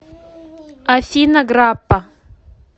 афина граппа